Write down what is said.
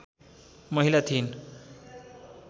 महिला थिइन्